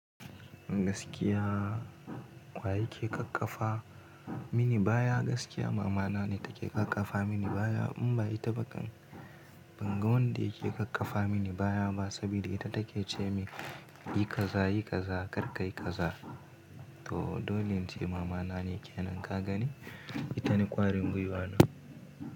Gaskiya waye yake ƙaƙƙafa mini baya? Gaskiya mama na ne take ƙaƙƙafa mini baya in bai taba kan, ban ga wanda yake ƙaƙƙafa mini baya ba saboda ita take ce min yi kaza, yi kaza, kar ka yi kaza. To dole ce mama na ne kenan ka gani? Ita ne ƙwarin gwiwa na.